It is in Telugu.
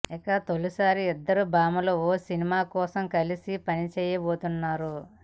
ఇక తొలిసారి ఇద్దరు భామలు ఓ సినిమా కోసం కలిసి పనిచేయబోతున్నారు